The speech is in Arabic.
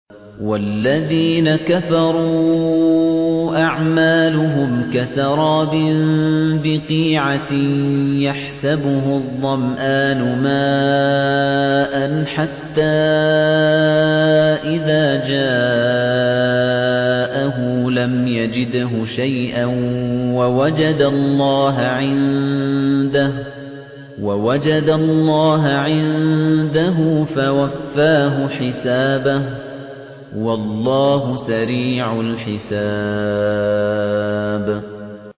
وَالَّذِينَ كَفَرُوا أَعْمَالُهُمْ كَسَرَابٍ بِقِيعَةٍ يَحْسَبُهُ الظَّمْآنُ مَاءً حَتَّىٰ إِذَا جَاءَهُ لَمْ يَجِدْهُ شَيْئًا وَوَجَدَ اللَّهَ عِندَهُ فَوَفَّاهُ حِسَابَهُ ۗ وَاللَّهُ سَرِيعُ الْحِسَابِ